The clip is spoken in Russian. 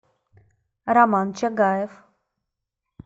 роман чагаев